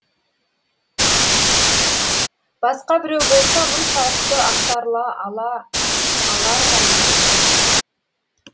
басқа біреу болса мұншалықты ақтарыла ала алар ма едік